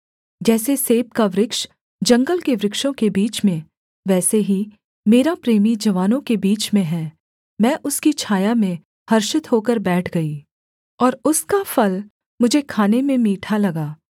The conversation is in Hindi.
जैसे सेब का वृक्ष जंगल के वृक्षों के बीच में वैसे ही मेरा प्रेमी जवानों के बीच में है मैं उसकी छाया में हर्षित होकर बैठ गई और उसका फल मुझे खाने में मीठा लगा